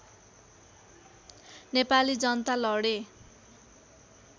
नेपाली जनता लडे